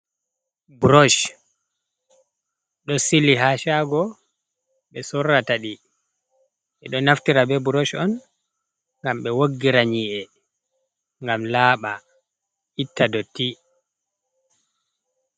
Buroc ɗo sili haa saago ɓe sorrata ɗi, ɓe ɗo naftira bee buroc on ngam ɓe woggira nyi’e ngam laaɓa itta dotti.